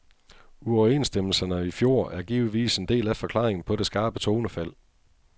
Uoverenstemmelserne i fjor er givetvis en del af forklaringen på det skarpe tonefald.